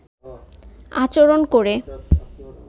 আচরন করে